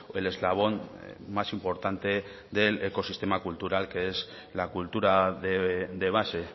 el eslabón más importante del ecosistema cultural que es la cultura de base